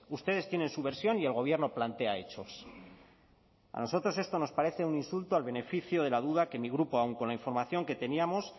ustedes tienen su versión y el gobierno plantea hechos a nosotros esto nos parece un insulto al beneficio de la duda que mi grupo aun con la información que teníamos